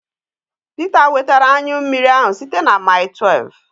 Peter wetara anyụ mmiri ahụ site na maịl tuev